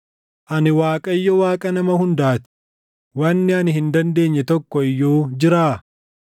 “Ani Waaqayyo, Waaqa nama hundaa ti; wanni ani hin dandeenye tokko iyyuu jiraa?